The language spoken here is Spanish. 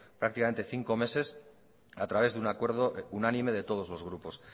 prácticamente cinco meses a través de un acuerdo unánime de todos los grupos